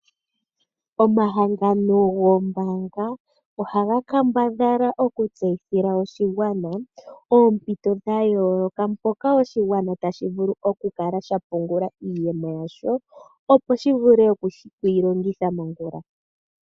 Omahangano goombanga ohaga kambadhala oku tseyithila oshigwana oompito dha yooloka, mpoka oshigwana tashi vulu oku kala sha pungula iiyemo yasho, opo shi vule okuyi longitha mongula.